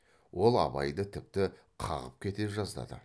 ол абайды тіпті қағып кете жаздады